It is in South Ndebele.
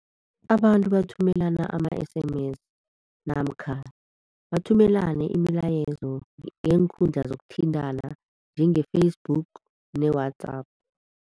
Abantu bathumelana ama-S_M_S namkha bathumelane imilayezo ngeenkhundla zokuthintana njenge-Facebook ne-WhatsApp.